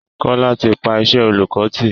Kọlá ti pa iṣẹ́ oolùkọ́ tì